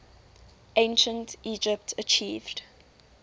ancient egypt achieved